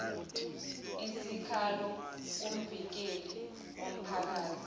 isikhalo kumvikeli womphakathi